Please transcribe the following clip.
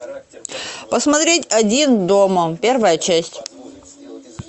посмотреть один дома первая часть